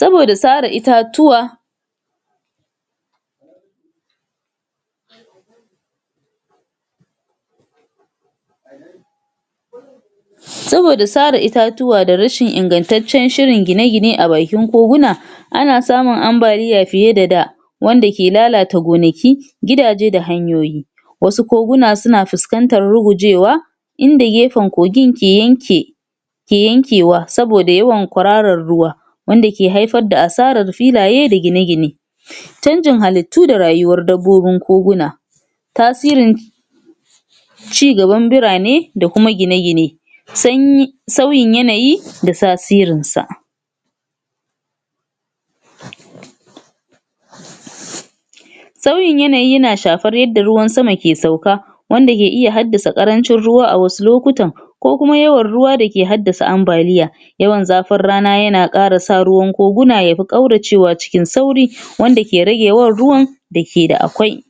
saboda sara itatuwa saboda sara itatuwa da ingantaccen shirin gine-gine a bakin goguna ana samun ambaliya fiye da da wanda ke lalata gonaki gidaje da hanyoyi wasu koguna suna fiskantar rugujewa inda gefan kogin ke yanke ke yankewa saboda kwararan ruwa wanda ke haifar da asaran filaye da gine-gine canjin halittu da rayuwar dabbobin koguna tasirin cigaban burane da kuma gine-gine sanyi sanyi sauyin yanayi da tasirinsa sauyin yanayi yana shafan yadda ruwan sama yake sauka wanda ke haddasa karancin ruwa a wasu lokutan ko kuma yawan ruwa da yake haddasa ambaliya yawan zafin rana na kara sa ruwan kokuna na kauracewa cikin sauri wanda ke rade yawan ruwan da ke da akwai